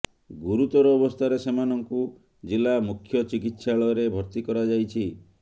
ଗୁରୁତର ଅବସ୍ଥାରେ ସେମାନଙ୍କୁ ଜିଲ୍ଲା ମୁଖ୍ୟ ଚିକିତ୍ସାଳୟରେ ଭର୍ତ୍ତି କରାଯାଇଛି